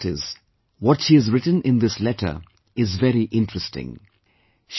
And the best part is, what she has written in this letter is very interesting